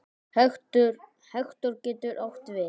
Hektor getur átt við